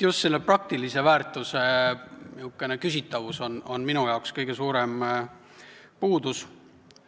Just selle praktilise väärtuse küsitavus on minu arvates kõige suurem puudus,